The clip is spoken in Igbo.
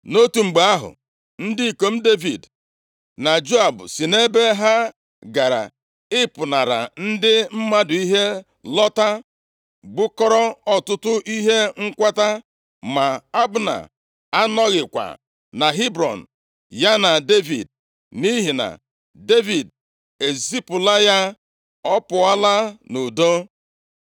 Nʼotu mgbe ahụ, ndị ikom Devid na Joab si nʼebe ha gara ịpụnara ndị mmadụ ihe lọta, bukọrọ ọtụtụ ihe nkwata. Ma Abna anọghịkwa na Hebrọn ya na Devid, nʼihi na Devid ezipụla ya, ọ pụọla nʼudo.